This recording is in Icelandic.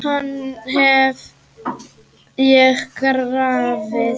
Hann hef ég grafið.